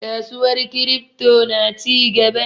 Kasuwar kiripto na cigaba.